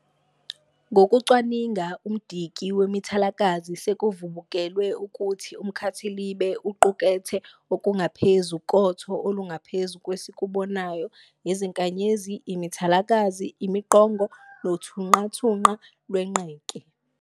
Ngokucwaninga umdiki wemithalakazi, sekuvubukulwe ukuthi umkhathilibe uqukethe okungaphezu kotho olungaphezu kwesikubonayo, izinkanyezi, imithalakazi, imiqongo nothunqathunqa lwenqeke.